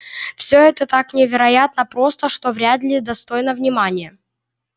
все это так невероятно просто что вряд ли достойно внимания